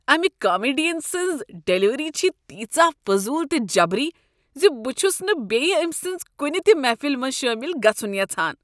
امہ کامیڈین سٕنٛز ڈلیوری چھےٚ تیژاہ فضول تہٕ جبری ز بہٕ چھس نہٕ بیٚیہ أمۍ سٕنٛز کنہ تہ محفلہ منٛز شٲمل گژھن یژھان۔